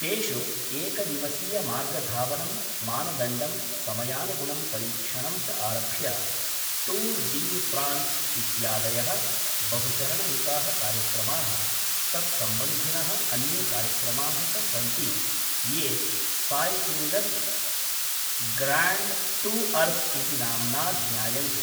तेषु एकदिवसीयमार्गधावनं, मानदण्डं, समयानुगुणं परीक्षणं च आरभ्य टूर् डी फ्रांस् इत्यादयः बहुचरणयुताः कार्यक्रमाः तत्सम्बन्धिनः अन्ये कार्यक्रमाः च सन्ति ये सायक्लिङ्ग्स् ग्राण्ड् टूअर्स् इति नाम्ना ज्ञायन्ते।